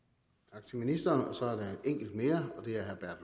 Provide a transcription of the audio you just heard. tak til ministeren så er der enkelt mere og det er herre